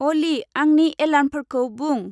अलि, आंनि एलार्मफोरखौ बुं?